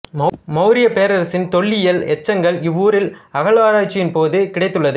மௌரியப் பேரரசின் தொல்லியல் எச்சங்கள் இவ்வூரில் அகழ்வாராய்ச்சியின் போது கிடைத்துள்ளது